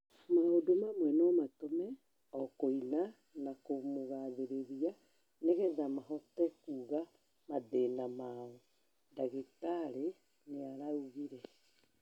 maũndũ mamwe no matũme o kũina na kumugathĩrĩria nĩgetha mahote kũga mathĩna mao," dagĩtarĩ nĩaraũgire